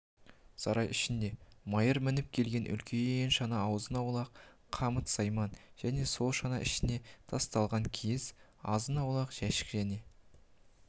сарай ішінде майыр мініп келген үлкен шана азын-аулақ қамыт-сайман және сол шана ішіне тасталған киіз азын-аулақ жәшік және